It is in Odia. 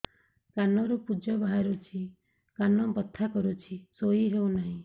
କାନ ରୁ ପୂଜ ବାହାରୁଛି କାନ ବଥା କରୁଛି ଶୋଇ ହେଉନାହିଁ